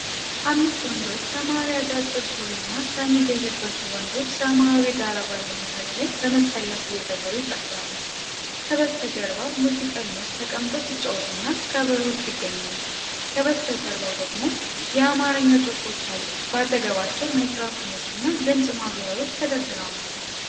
አምስት ወንዶች ሰማያዊ አጫጭር ሱሪ ና ሸሚዝ የለበሱ ወንዶች ሰማያዊ ዳራ ባለው መድረክ ላይ በመሰለፍ እየዘለሉ ይጨፍራሉ። ከበስተጀርባ ሙዚቀኞች ተቀምጠው ሲጫወቱ እና ከበሮዎች ይገኛሉ። ከበስተጀርባው ደግሞ የአማርኛ ጽሑፎች አሉ፣ በአጠገባቸው ማይክሮፎኖች እና ድምጽ ማጉያዎች ተደርድረዋል።